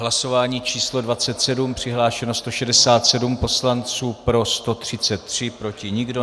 Hlasování číslo 27, přihlášeno 167 poslanců, pro 133, proti nikdo.